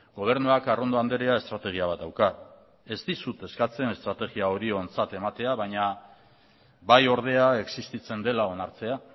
gobernuak arrondo andrea estrategia bat dauka ez dizut eskatzen estrategia hori ontzat ematea baina bai ordea existitzen dela onartzea